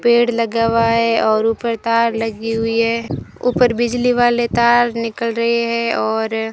पेड़ लगा हुआ है और ऊपर तार लगी हुई है ऊपर बिजली वाले तार निकल रहे हैं और --